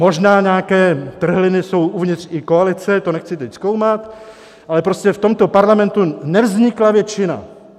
Možná nějaké trhliny jsou i uvnitř koalice, to nechci teď zkoumat, ale prostě v tomto parlamentu nevznikla většina.